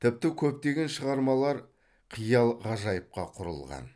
тіпті көптеген шығармалар қиял ғажайыпқа құрылған